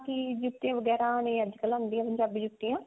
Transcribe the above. ਕੀ ਜਿੱਤੇ ਵਗੇਰਾ ਨੀ ਆਉਂਦੀਆਂ ਅੱਜਕਲ ਪੰਜਾਬੀ ਜੁੱਤੀਆਂ